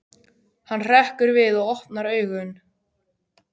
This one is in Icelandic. Hann hrekkur við og opnar augun.